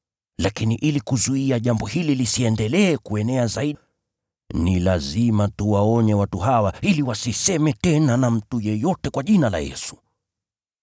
Lakini ili kuzuia jambo hili lisiendelee kuenea zaidi kwa watu, ni lazima tuwaonye watu hawa ili wasiseme tena na mtu yeyote kwa jina la Yesu.”